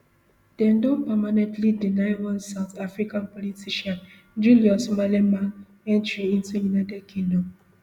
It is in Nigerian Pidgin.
dem don permanently deny one south africa politician julius malema entry into united kingdom